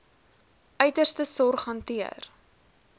uiterste sorg hanteer